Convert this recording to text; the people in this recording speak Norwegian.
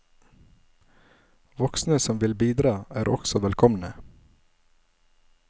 Voksne som vil bidra er også velkomne.